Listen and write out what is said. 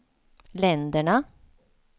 länderna